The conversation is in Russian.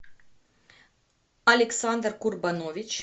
александр курбанович